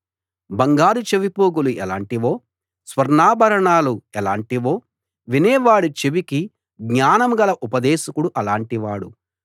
బంగారు చెవిపోగులు ఎలాటివో స్వర్ణాభరణాలు ఎలాటివో వినే వాడి చెవికి జ్ఞానం గల ఉపదేశకుడు అలాటి వాడు